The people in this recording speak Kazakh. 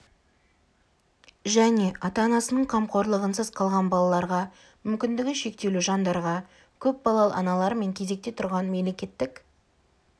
және ата-анасының қамқорлығынсыз қалған балаларға мүмкіндігі шектеулі жандарға көп балалы аналар мен кезекте тұрған мемлекеттік